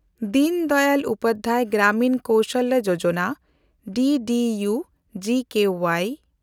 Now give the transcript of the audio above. ᱫᱤᱱ ᱫᱚᱭᱟᱞ ᱩᱯᱟᱫᱽᱫᱷᱭᱟᱭ ᱜᱨᱟᱢᱤᱱ ᱠᱚᱥᱟᱞᱭᱟ ᱡᱳᱡᱚᱱᱟ (ᱰᱤᱰᱤᱭᱩ-ᱡᱤᱠᱣᱟᱭ)